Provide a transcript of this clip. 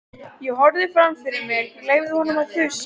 Ég horfði fram fyrir mig, leyfði honum að þusa.